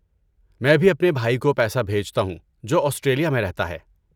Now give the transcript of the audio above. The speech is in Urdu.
میں بھی اپنے بھائی کو پیسہ بھیجتا ہوں جو آسٹریلیا میں رہتا ہے۔